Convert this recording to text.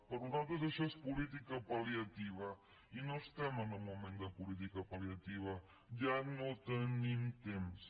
per nosaltres això és política palliativa i no estem en un moment de política pal·liativa ja no tenim temps